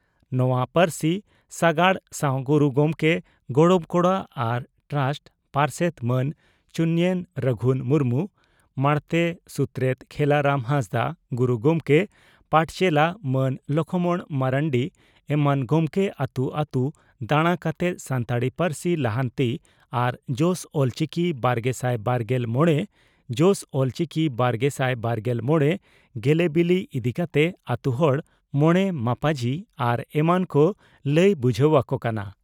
ᱱᱚᱣᱟ ᱯᱟᱹᱨᱥᱤ ᱥᱟᱜᱟᱲ ᱥᱟᱣ ᱜᱩᱨᱩ ᱜᱚᱢᱠᱮ ᱜᱚᱲᱚᱢ ᱠᱚᱲᱟ ᱟᱨ ᱴᱨᱟᱥᱴ ᱯᱟᱨᱥᱮᱛ ᱢᱟᱱ ᱪᱩᱱᱭᱮᱱ ᱨᱟᱜᱷᱩᱱ ᱢᱩᱨᱢᱩ, ᱢᱟᱬᱛᱮ ᱥᱩᱛᱨᱮᱛ ᱠᱷᱮᱞᱟᱨᱟᱢ ᱦᱟᱸᱥᱫᱟᱜ, ᱜᱩᱨᱩ ᱜᱚᱢᱠᱮ ᱯᱟᱴᱪᱮᱞᱟ ᱢᱟᱱ ᱞᱚᱠᱷᱢᱚᱬ ᱢᱟᱨᱱᱰᱤ ᱮᱢᱟᱱ ᱜᱚᱢᱠᱮ ᱟᱹᱛᱩ ᱟᱹᱛᱩ ᱫᱟᱬᱟ ᱠᱟᱛᱮ ᱥᱟᱱᱛᱟᱲᱤ ᱯᱟᱹᱨᱥᱤ ᱞᱟᱦᱟᱱᱛᱤ ᱟᱨ ᱡᱚᱥ ᱚᱞᱪᱤᱠᱤ ᱵᱟᱨᱜᱮᱥᱟᱭ ᱵᱟᱨᱜᱮᱞ ᱢᱚᱲᱮ ᱡᱚᱥ ᱚᱞᱪᱤᱠᱤ ᱵᱟᱨᱜᱮᱥᱟᱭ ᱵᱟᱨᱜᱮᱞ ᱢᱚᱲᱮ ᱜᱮᱞᱮᱵᱤᱞᱤ ᱤᱫᱤ ᱠᱟᱛᱮ ᱟᱹᱛᱩ ᱦᱚᱲ, ᱢᱚᱬᱮ ᱢᱟᱯᱟᱡᱤ ᱟᱨ ᱮᱢᱟᱱ ᱠᱚ ᱞᱟᱹᱭ ᱵᱩᱡᱷᱟᱹᱣ ᱟᱠᱚ ᱠᱟᱱᱟ ᱾